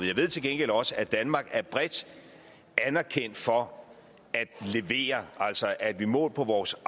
jeg ved til gengæld også at danmark er bredt anerkendt for at levere altså at vi målt på vores